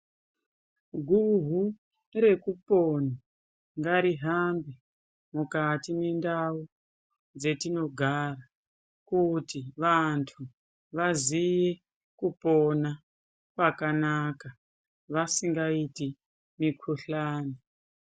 Guhu rekupona ngaihambe mukati mwendau dzetinogara, kuti vantu vaziye kupona kwakanaka, vasingaiti mikhuhlani.